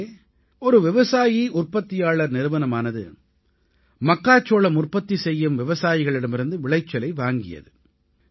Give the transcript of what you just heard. அங்கே ஒரு விவசாயிஉற்பத்தியாளர் நிறுவனமானது மக்காச்சோளம் உற்பத்தி செய்யும் விவசாயிகளிடமிருந்து விளைச்சலை வாங்கியது